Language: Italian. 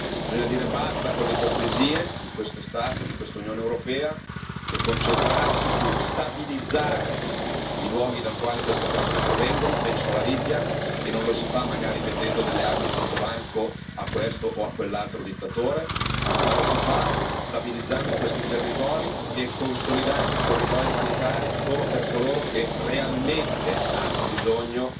Bisogna dire basta con l'ipocrisia di questo Stato, di questa Unione europea e concentrarsi su stabilizzare i luoghi dal quale queste persone provengono penso alla Libia e non lo si fa magari vendendo armi sottobanco a questo o a quell'altro dittatore, ma lo si fa stabilizzando questi territori e consolidando i corridoi umanitari solo per coloro che realmente hanno bisogno